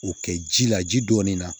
O kɛ ji la ji dɔɔnin na